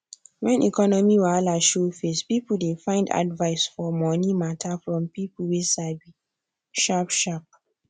when economy wahala show face people dey find advice for money matter from people way sabi sharp sharp